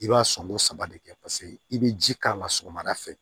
I b'a sɔnko saba de kɛ paseke i be ji k'a la sɔgɔmada fɛ